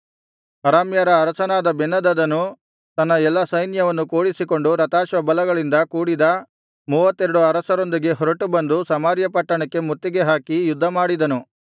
ಅರಾಮ್ಯರ ಅರಸನಾದ ಬೆನ್ಹದದನು ತನ್ನ ಎಲ್ಲಾ ಸೈನ್ಯವನ್ನು ಕೂಡಿಸಿಕೊಂಡು ರಥಾಶ್ವಬಲಗಳಿಂದ ಕೂಡಿದ ಮೂವತ್ತೆರಡು ಅರಸರೊಂದಿಗೆ ಹೊರಟು ಬಂದು ಸಮಾರ್ಯ ಪಟ್ಟಣಕ್ಕೆ ಮುತ್ತಿಗೆ ಹಾಕಿ ಯುದ್ಧಮಾಡಿದನು